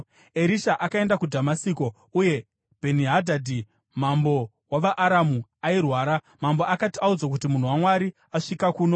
Erisha akaenda kuDhamasiko uye Bheni-Hadhadhi mambo wavaAramu airwara. Mambo akati audzwa kuti, “Munhu waMwari asvika kuno,”